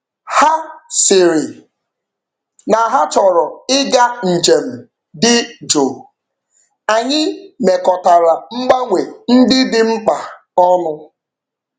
Ha sịrị na ha chọrọ ịga nje m dị jụụ, anyị mekọtara mgbanwe ndị dị mkpa ọnụ.